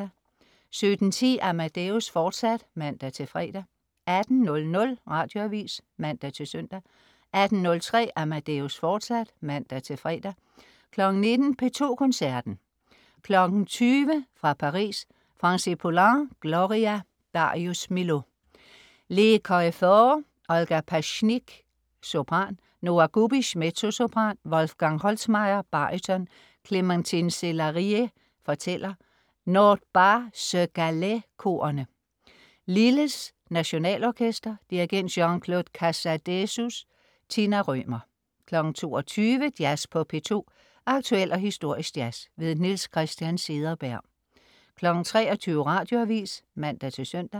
17.10 Amadeus, fortsat (man-fre) 18.00 Radioavis (man-søn) 18.03 Amadeus, fortsat (man-fre) 19.00 P2 Koncerten. 20.00 Koncert fra Paris. Francis Poulenc: Gloria. Darius Milhaud: Les Choéphores. Olga Pasichnyk, sopran. Nora Gubish, mezzosopran. Wolfgang Holzmair, baryton. Clémentine Célarié, fortæller. Nord Pas-se-Calais-korene. Lilles Nationalorkester. Dirigent: Jean-Claude Casadesus. Tina Rømer 22.00 Jazz på P2. Aktuel og historisk jazz. Niels Christian Cederberg 23.00 Radioavis (man-søn)